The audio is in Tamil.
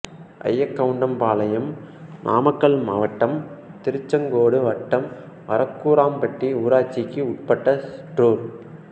அய்யக்கவுண்டம்பாளையம் நாமக்கல் மாவட்டம் திருச்செங்கோடு வட்டம் வரகூராம்பட்டி ஊராட்சிக்கு உட்பட்ட சிற்றூர்